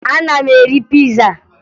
Ana m eri piza